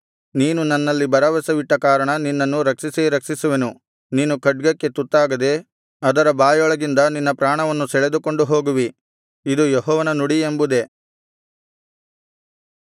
ನೀನು ನನ್ನಲ್ಲಿ ಭರವಸವಿಟ್ಟ ಕಾರಣ ನಿನ್ನನ್ನು ರಕ್ಷಿಸೇ ರಕ್ಷಿಸುವೆನು ನೀನು ಖಡ್ಗಕ್ಕೆ ತುತ್ತಾಗದೆ ಅದರ ಬಾಯೊಳಗಿಂದ ನಿನ್ನ ಪ್ರಾಣವನ್ನು ಸೆಳೆದುಕೊಂಡು ಹೋಗುವಿ ಇದು ಯೆಹೋವನ ನುಡಿ ಎಂಬುದೇ